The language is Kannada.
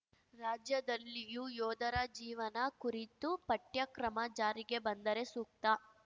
ರಾಜ್ಯದಲ್ಲಿಯೂ ಯೋಧರ ಜೀವನ ಕುರಿತು ಪಠ್ಯಕ್ರಮ ಜಾರಿಗೆ ಬಂದರೆ ಸೂಕ್ತ